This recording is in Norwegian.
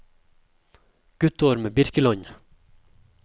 Guttorm Birkeland